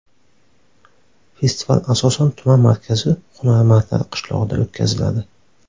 Festival asosan tuman markazi Hunarmandlar qishlog‘ida o‘tkaziladi.